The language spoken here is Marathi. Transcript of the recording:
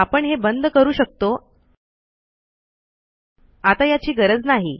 आपण हे बंद करू शकतो आता याची गरज नाही